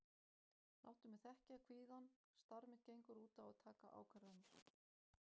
Láttu mig þekkja kvíðann, starf mitt gengur út á að taka ákvarðanir.